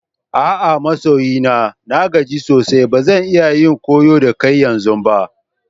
A'a masoyi na. Na gaji sosai ba zan iya yin koyo da kai yanzu ba.